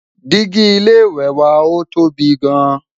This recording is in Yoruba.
Digi ilé ìwé wà ọ tóbi gaan